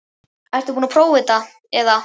Ertu búin að prófa þetta eða?